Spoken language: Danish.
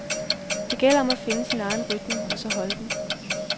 Det gælder om at finde sin egen rytme og så holde den.